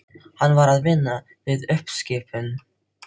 Hann var að vinna við uppskipun.